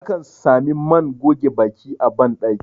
akan Sami man goge Baki a bandaki